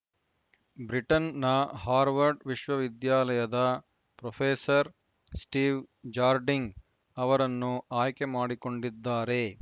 ಬ್ರಿಟನ್‌ನ ಹಾರ್ವರ್ಡ್‌ ವಿಶ್ವವಿದ್ಯಾಲಯದ professor Steve Jarding ಅವರನ್ನು ಆಯ್ಕೆ ಮಾಡಿಕೊಂಡಿದ್ದಾರೆ